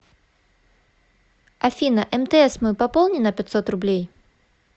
афина мтс мой пополни на пятьсот рублей